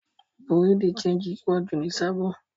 Bùrúdì ṣẹegì pọ̀ jù ni Sábò.